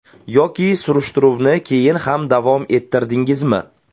Yoki surishtiruvni keyin ham davom ettirdingizmi?